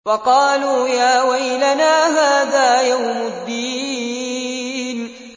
وَقَالُوا يَا وَيْلَنَا هَٰذَا يَوْمُ الدِّينِ